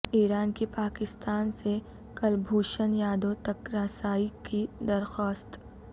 ایران کی پاکستان سے کلبھوشن یادو تک رسائی کی درخواست